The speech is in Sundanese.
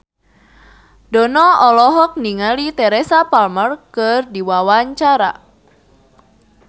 Dono olohok ningali Teresa Palmer keur diwawancara